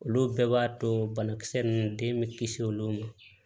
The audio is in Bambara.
Olu bɛɛ b'a to banakisɛ ninnu den bɛ kisi olu ma